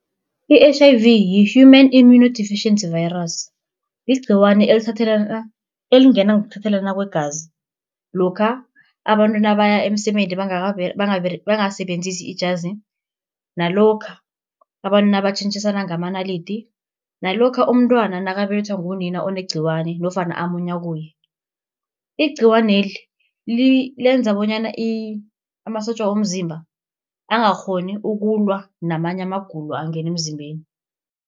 I-H_I_V yi-Human Immunodeficiency Virus yigciwani elingena ngokuthathelana kwegazi, lokha abantu nabaya emsemeni bangasebenzisi ijazi. Nalokha abantu nabatjhenjisana ngamanalidi, nalokha umntwana nakabelethwa ngunina onegciwani nofana amunya kuye. Igciwaneli lenza bonyana amasotja womzimba angakghoni ukulwa namanye amagulo angena emzimbeni.